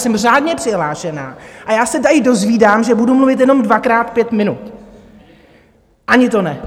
Jsem řádně přihlášená a já se tady dozvídám, že budu mluvit jenom dvakrát pět minut, ani to ne.